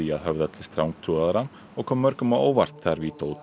að höfða til strangtrúaðra og kom mörgum á óvart þegar